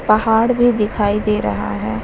पहाड़ भी दिखाई दे रहा है।